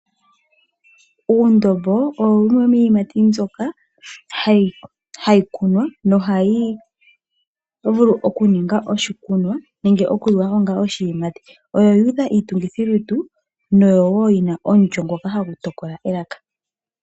Uundobo owo wumwe womiiyimati mbyoka hayi kunwa nohayi vulu okuningwa oshikunwa, nenge okuliwa manga onga shiyimati oyo yuudha iitungithilutu no woo yina omulyo ngoka hagu tokola elaka.